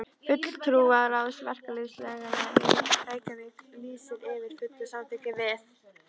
FULLTRÚARÁÐS VERKALÝÐSFÉLAGANNA Í REYKJAVÍK LÝSIR YFIR FULLU SAMÞYKKI VIÐ